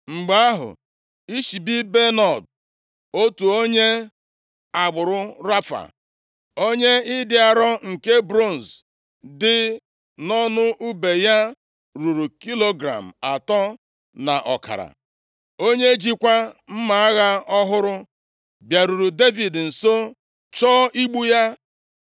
Mgbe ahụ, Ishibi-Benob, otu onye agbụrụ Rafa, onye ịdị arọ nke bronz dị nʼọnụ ùbe ya ruru kilogram atọ na ọkara, onye jikwa mma agha ọhụrụ, bịaruru Devid nso chọọ igbu ya.